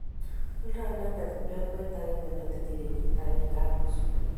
oldi inendet kiplekwet agenge ne tinyei kenyit agenge ak nusu